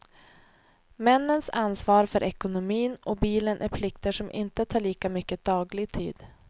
Männens ansvar för ekonomin och bilen är plikter som inte tar lika mycket daglig tid.